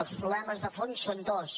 els problemes de fons són dos